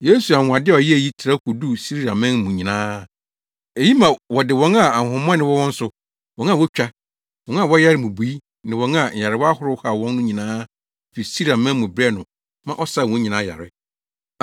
Yesu anwonwade a ɔyɛe yi trɛw koduu Siriaman mu nyinaa. Eyi ma wɔde wɔn a ahonhommɔne wɔ wɔn so, wɔn a wotwa, wɔn a wɔyare mmubui ne wɔn a nyarewa ahorow haw wɔn no nyinaa fi Siriaman mu brɛɛ no ma ɔsaa wɔn nyinaa yare.